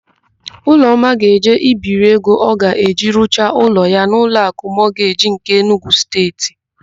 Ụlọma ga-eje ibiri ego ọ ga-eji rụcha ụlọ ya n'Ụlọakụ Mọgeji nke Enugu Steeti.